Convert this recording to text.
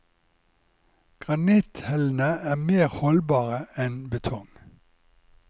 Granitthellene er mer holdbare enn betong.